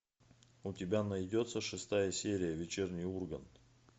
у тебя найдется шестая серия вечерний ургант